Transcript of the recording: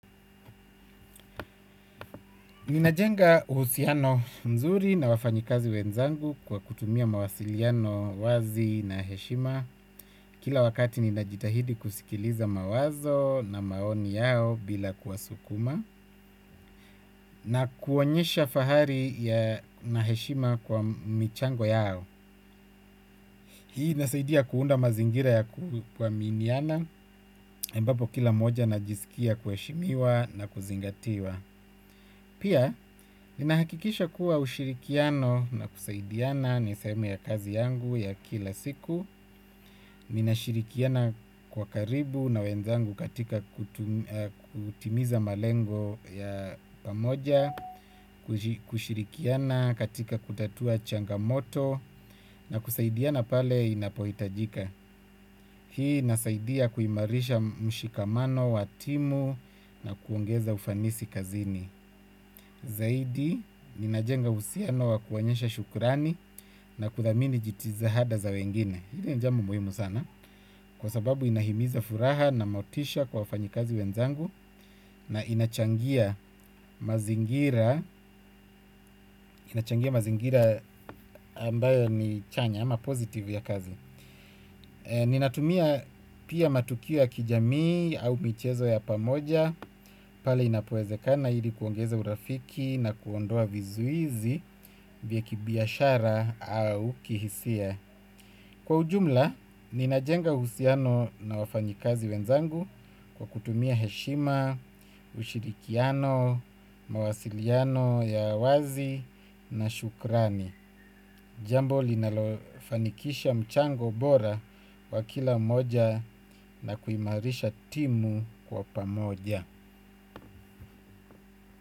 Ninajenga uhusiano mzuri na wafanyikazi wenzangu kwa kutumia mawasiliano wazi na heshima. Kila wakati ninajitahidi kusikiliza mawazo na maoni yao bila kuwasukuma. Na kuonyesha fahari ya na heshima kwa michango yao. Hii inasaidia kuunda mazingira ya kuaaminiana. Ambapo kila mmoja anajisikia kuheshimiwa na kuzingatiwa. Pia, ninahakikisha kuwa ushirikiano na kusaidiana ni sehemu ya kazi yangu ya kila siku. Ninashirikiana kwa karibu na wenzangu katika kutimiza malengo ya pamoja, kushirikiana katika kutatua changamoto na kusaidiana pale inapohitajika. Hii inasaidia kuimarisha mshikamano, wa timu na kuongeza ufanisi kazini. Zaidi, ninajenga uhusiano wa kuonyesha shukurani na kuthamini jitihada za wengine. Hili ni jambo muhimu sana. Kwa sababu inahimiza furaha na motisha kwa wafanyikazi wenzangu. Na inachangia mazingira ambayo ni chanya ama positive ya kazi. Ninatumia pia matukio ya kijamii au michezo ya pamoja. Pale inapowezekana ili kuongeza urafiki na kuondoa vizuizi vya kibiashara au kihisia. Kwa ujumla, ninajenga uhusiano na wafanyikazi wenzangu kwa kutumia heshima, ushirikiano, mawasiliano ya wazi na shukrani. Jambo linalofanikisha mchango bora wa kila mmoja na kuimarisha timu kwa pamoja.